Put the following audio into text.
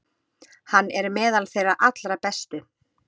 Hann er meðal þeirra allra bestu.